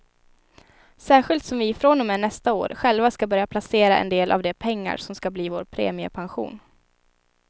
Särskilt som vi från och med nästa år själva ska börja placera en del av de pengar som ska bli vår premiepension.